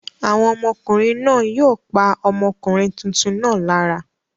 Àwọn ọmọkùnrin náà yóò pa ọmọkùnrin tuntun náà lára?